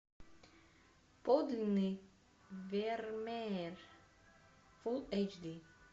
подлинный вермеер фулл эйч ди